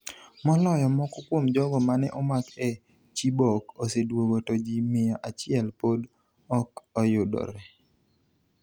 Maloyo Moko kuom jogo mane omak e Chibok oseduogo to ji mia achiel pod ok oyudre.